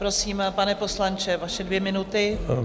Prosím, pane poslanče, vaše dvě minuty.